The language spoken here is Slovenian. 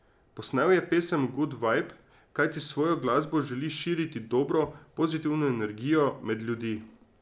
Posnel je pesem Gud vajb, kajti s svojo glasbo želi širiti dobro, pozitivno energijo med ljudi.